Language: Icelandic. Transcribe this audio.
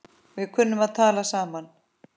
Við kunnum að tala saman.